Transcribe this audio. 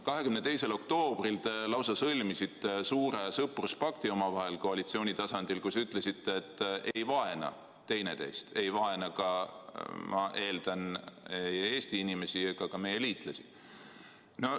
22. oktoobril te lausa sõlmisite suure sõpruspakti omavahel koalitsiooni tasandil, kus ütlesite, et ei vaena teineteist, ei vaena, ma eeldan, ka Eesti inimesi ega meie liitlasi.